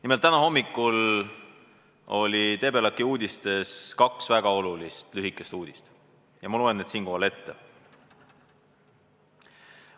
Nimelt, täna hommikul oli Debelaki uudistes kaks väga olulist lühikest uudist ja ma loen need siinkohal ette.